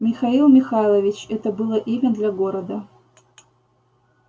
михаил михайлович это было имя для города